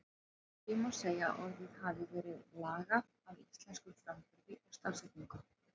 Því má segja að orðið hafi verið lagað að íslenskum framburði og stafsetningu.